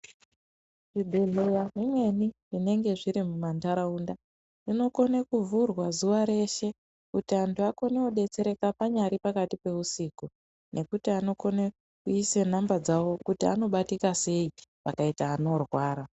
Zvibhehleya zvimweni zvinenge zviri mumanharaunda zvinokone kuvhurwa zuwa reshe kuti anhu akone kudetsereka panyari pakati peusiku nekuti anokone kuise namba dzembozha nhare kuti anobatikasei pakaite vanorwara.